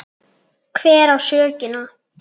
Hver á sökina?